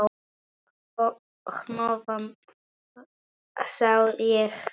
Hnoðað sá ég hvergi.